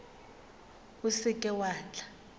o se ke wa tla